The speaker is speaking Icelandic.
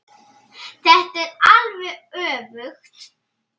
Þetta er alveg öfugt.